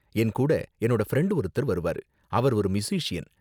என் கூட என்னோட ஃப்ரெண்ட் ஒருத்தர் வருவாரு, அவர் ஒரு மியூசிஸியன்.